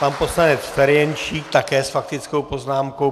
Pan poslanec Ferjenčík také s faktickou poznámkou.